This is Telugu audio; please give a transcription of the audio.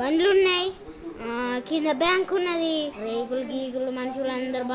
బండ్లు ఉన్నాయిఆ కింద బ్యాంకు ఉన్నదిరేకులు గికులు మనుషులందరూ --